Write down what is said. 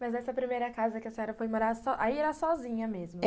Mas essa primeira casa que a senhora foi morar so, aí era sozinha mesmo?